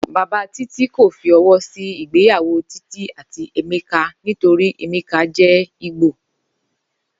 Bàbá Títí kò fi o̩wó̩ sí ìgbéyàwó Títí àti Emeka nítorí Emeka jé̩ Ìgbò